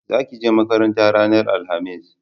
Za ki je makaranta ranar alhamis!